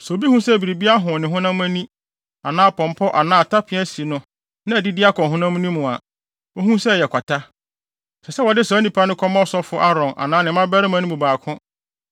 “Sɛ obi hu sɛ biribi ahon ne honam ani, anaa pɔmpɔ anaa atape asi no na adidi akɔ ne honam mu a, onhu sɛ ɛyɛ kwata. Ɛsɛ sɛ wɔde saa onipa no kɔma ɔsɔfo Aaron anaa ne mmabarima no mu baako